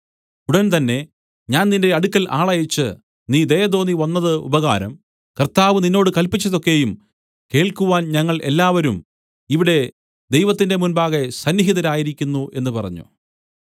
ഉടൻ തന്നെ ഞാൻ നിന്റെ അടുക്കൽ ആളയച്ച് നീ ദയതോന്നി വന്നത് ഉപകാരം കർത്താവ് നിന്നോട് കല്പിച്ചതൊക്കെയും കേൾക്കുവാൻ ഞങ്ങൾ എല്ലാവരും ഇവിടെ ദൈവത്തിന്റെ മുമ്പാകെ സന്നിഹിതരായിരിക്കുന്നു എന്നു പറഞ്ഞു